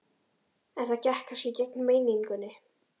En það gekk kannski gegn meiningunni.